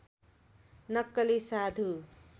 नक्कली साधु